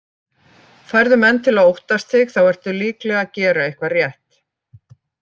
Færðu menn til að óttast þig þá ertu líklegast að gera eitthvað rétt.